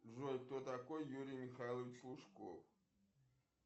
джой кто такой юрий михайлович лужков